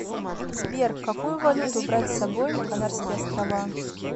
сбер какую валюту брать с собой на канарские острова